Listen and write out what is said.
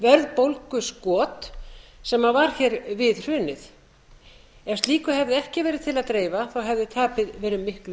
verðbólguskot sem varð hér við hrunið ef slíku hefði ekki verið til að dreifa hefði tapið verið miklu